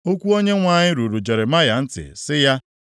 Okwu Onyenwe anyị ruru Jeremaya ntị sị ya,